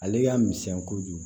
Ale y'a misɛn kojugu